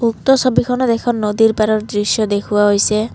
উক্ত ছবিখনত এখন নদীৰ পাৰৰ দৃশ্য দেখুওৱা হৈছে।